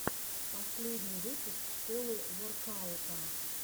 последний выпуск школы воркаута